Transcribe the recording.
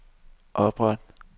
opret